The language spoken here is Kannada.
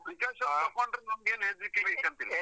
Precaution ತಗೊಂಡ್ರೆ ನಂಗೇನೂ ಹೆದ್ರಿಕೆ ಬೇಕಂತ ಇಲ್ಲ.